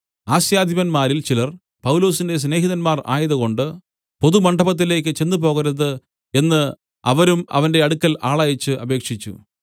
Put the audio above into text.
ആസ്യാധിപന്മാരിൽ ചിലർ പൗലൊസിന്റെ സ്നേഹിതന്മാർ ആയതുകൊണ്ട് പൊതുമണ്ഡപത്തിലേക്ക് ചെന്നുപോകരുത് എന്ന് അവരും അവന്റെ അടുക്കൽ ആളയച്ച് അപേക്ഷിച്ചു